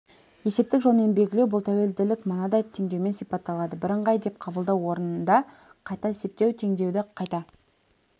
есептік жолмен белгілеу бұл тәуелділік мынадай теңдеумен сипатталады бірыңғай деп қабылдау орынды қайта есептеу теңдеуді қайта